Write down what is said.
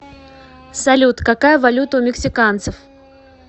салют какая валюта у мексиканцев